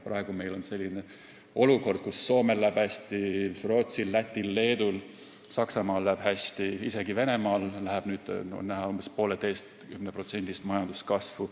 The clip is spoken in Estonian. Praegu on meil selline olukord, kus Soomel läheb hästi, Rootsil, Lätil, Leedul ja Saksamaal läheb hästi, isegi Venemaal on nüüd näha umbes 1,5%-st majanduskasvu.